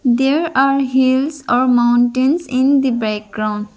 There are hills or mountains in the background.